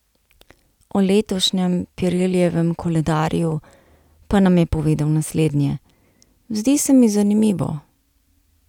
O letošnjem Pirellijevem koledarju, pa nam je povedal naslednje: 'Zdi se mi zanimivo.